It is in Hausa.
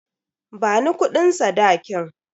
Bani kudin sadakin.